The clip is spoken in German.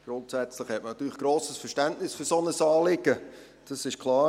Grundsätzlich hat man natürlich grosses Verständnis für ein solches Anliegen, das ist klar.